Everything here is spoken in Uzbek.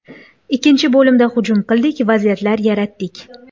Ikkinchi bo‘limda hujum qildik, vaziyatlar yaratdik.